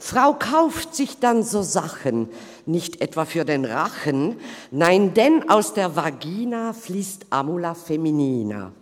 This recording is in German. Frau kauft sich dann so Sachen, nicht etwa für den Rachen, nein, denn aus der Vagina fliesst Amula feminina.